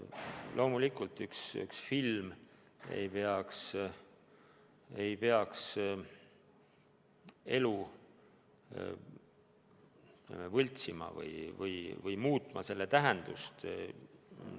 Loomulikult, ükski film ei peaks elu võltsima või muutma sündmuste tähendust.